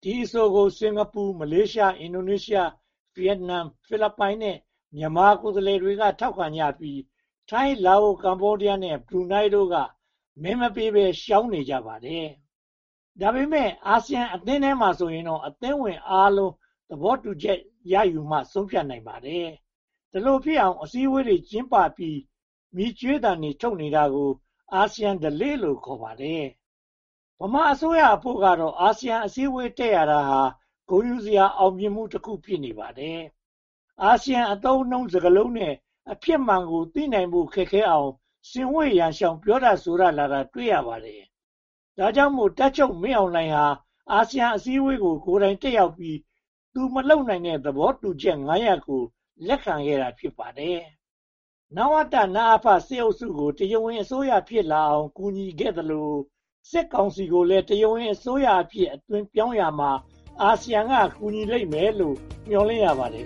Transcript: ။ ဒီအဆိုကို စင်္ကာပူ၊ မလေးရှား၊ အင်ဒိုနီးရှား၊ ဗိယက်နမ်၊ ဖိလစ်ပိုင် ကိုယ်စားလှယ်တွေက ထောက်ခံကြပြီး ထိုင်း၊ လာအို၊ ကမ္ဘောဒီးယားနဲ့ ဘရူးနိုင်းတို့က မဲမပေးဘဲ ရှောင်နေကြပါတယ်။ ဒါပေမဲ့ အာဆီယအသင်းထဲမှာဆိုရင်တော့ အသင်းဝင်အားလုံး သဘောတူမှ ဆုံးဖြတ်နိုင်ပါတယ်။ ဒီလိုဖြစ်အောင် အစည်းအဝေးတွေ ကျင်းပပြီး မြည်ကြွေးသ့တွေ ထုတ်နေတာကိုက အာဆီယံဓလေ့လို့ ခေါ်ပါတယ်။ ဗမာအစိုးရအဖို့တော့ အာဆီယံအစည်းအဝေး တက်ရတာဟာ ဂုဏ်ယူစရာ အောင်မြင်မှုတခု ဖြစ်နေပါတယ်။ အာဆီယံအသုံးအနှုန်းစကားလုံးနဲ့ အဖြစ်မှန်ကို သိနိုင်ဖို့ ခက်ခဲအောင် ဆင်ဝှေ့ရန်ရှောင် ပြောဆိုတတ် လာတာကိုလည်း တွေ့ရပါတယ်။ ဒါကြောင့်မို့ တပ်ချုပ်မင်းအောင်လှိုင်ဟာ အာဆီယံအစည်းအဝေးကို ကိုယ်တိုင်တက်ရောက်ပြီး သူမလုပ်နိုင်တဲ့ သဘောတူချက် (၅) ရပ်ကို လက်ခံခဲ့တာ ဖြစ်ပါတယ်။ နဝတ/နအဖ စစ်အုပ်စုကို တရားဝင်အစိုးရ ဖြစ်လာအောင် ကူညီခဲ့သလို စစ်ကောင်စီကိုလည်း တရားဝင်အစိုးရအဖြစ် အသွင်ပြောင်းရာမှာ အာဆီယံက ကူညီလိမ့်မယ်လို့ မျှော်လင့်ရပါတယ်